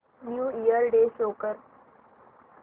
new year day show कर